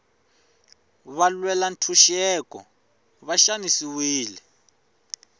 valwela ntshuxeko va xanisiwile